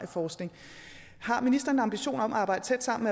forskning har ministeren en ambition om at arbejde tæt sammen